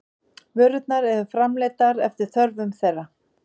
Vörurnar eru framleiddar eftir þörfum þeirra.